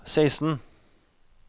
seksten